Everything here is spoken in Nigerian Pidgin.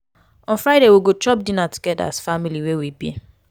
on friday we go chop dinner togeda as family wey we be.